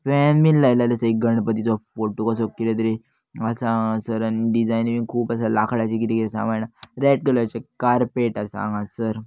फेन बीन लायल्लेलो आसा एक गणपतीचो फोटो कसो कीदे तरी आसा हांगासर आनी डीजायन बीन खूप आसा लाकडाचे कीदे कीदे सामान रेड कलरचे कार्पेट आसा हांगासर.